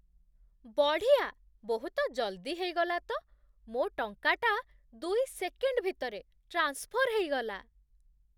ବଢ଼ିଆ । ବହୁତ ଜଲ୍ଦି ହେଇଗଲା ତ! ମୋ ଟଙ୍କାଟା ଦୁଇ ସେକେଣ୍ଡ୍ ଭିତରେ ଟ୍ରାନ୍ସଫର୍ ହେଇଗଲା ।